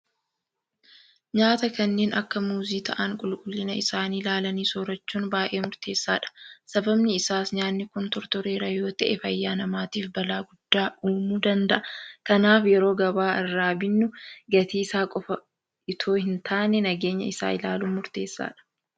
Nyaata kanneen akka muuzii ta'an qulqullina isaanii ilaalanii soorrachuun baay'ee murteessaadha. Sababni isaas nyaanni kun tortoreera yoota'e fayyaa namaatiif balaa guddaa uumuu danda'a. Kanaaf yeroo gabaa irraa binnu gatii isaa qofa itoo hintaane nageenya isaa ilaaluun murteessaadha.